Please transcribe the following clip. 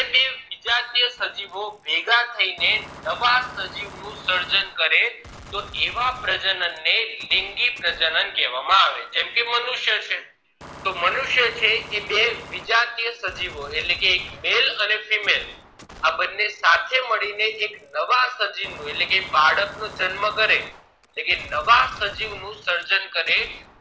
તો મનુષ્ય છે એ બે વિજાતીય સજીવો એટલે કે male અને female આ બને સાથે મળીને એક નવા સજીવ નું એટલે કે બાળક નો જન્મ કરે એટલે કે નવા સજીવ નું સર્જન કરે